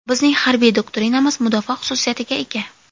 Bizning harbiy doktrinamiz mudofaa xususiyatiga ega.